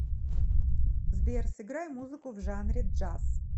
сбер сыграй музыку в жанре джаз